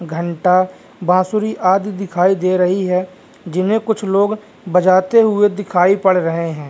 घंटा बांसुरी आदी दिखाई दे रही है जिनमें कुछ लोग बजाते हुए दिखाई पड़ रहे हैं।